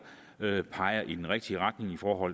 peger i den rigtige retning for